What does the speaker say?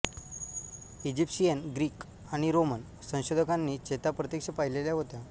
Egyptian Greek आणि Roman संशोधकानी चेता प्रत्यक्ष पाहिलेल्या होत्या